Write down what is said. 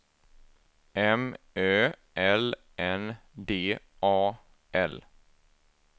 M Ö L N D A L